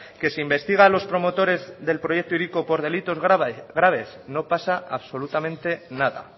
que se investiga a los promotores del proyecto hiriko por delitos graves no pasa absolutamente nada